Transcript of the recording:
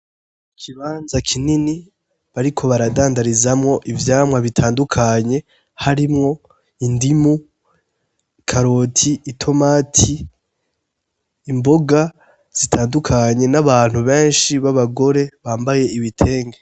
Ikibanza kinini bariko baradandarizamwo ivyamwa bitandukanye harimwo indimu, ikaroti ,itomati, imboga zitandukanye n'abantu benshi b'abagore bambaye ibitenge.